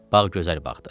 Bağ gözəl bağdır.